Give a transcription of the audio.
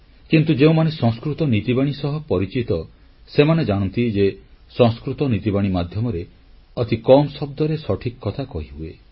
କିନ୍ତୁ ଯେଉଁମାନେ ସଂସ୍କୃତ ନୀତିବାଣୀ ସହ ପରିଚିତ ସେମାନେ ଜାଣନ୍ତି ଯେ ସଂସ୍କୃତ ନୀତିବାଣୀ ମାଧ୍ୟମରେ ଅତି କମ୍ ଶବ୍ଦରେ ସଠିକ୍ କଥା କହିହୁଏ